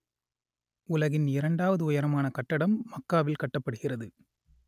உலகின் இரண்டாவது உயரமான கட்டடம் மக்காவில் கட்டப்படுகிறது